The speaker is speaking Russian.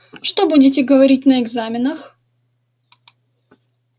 что будете говорить на экзаменах